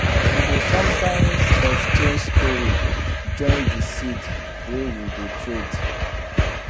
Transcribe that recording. we dey sometimes exchange story join de seed wey we dey trade